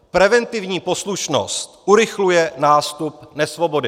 Preventivní poslušnost urychluje nástup nesvobody."